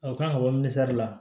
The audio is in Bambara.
O kan ka bɔ misali la